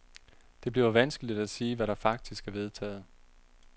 Det bliver vanskeligt at sige, hvad der faktisk er vedtaget.